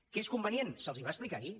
que és convenient se’ls va explicar ahir